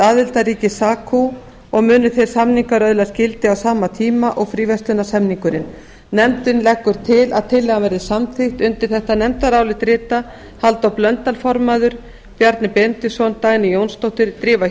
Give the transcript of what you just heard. aðildarríki sacu og munu þeir samningar öðlast gildi á sama tíma og fríverslunarsamningurinn nefndin leggur til að tillagan verði samþykkt undir þetta nefndarálit rita halldór blöndal formaður bjarni benediktsson dagný jónsdóttir drífa